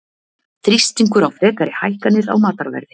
Þrýstingur á frekari hækkanir á matarverði